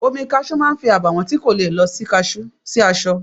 Omi Kaṣú máa fi àbàwọ́n tí kò le lọ sí aṣọ.